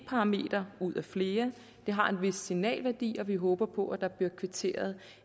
parameter ud af flere de har en vis signalværdi og vi håber på at der bliver kvitteret